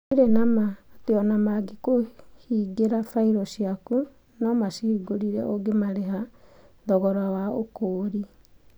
Gũtirĩ na ma atĩ o na mangĩkũhingĩra bairũ ciaku, no macihingũrĩre ũngĩmarĩha thogora wa ũkũũri.